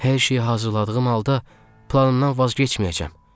Hər şeyi hazırladığım halda planımdan vaz keçməyəcəm.